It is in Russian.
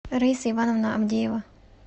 раиса ивановна авдеева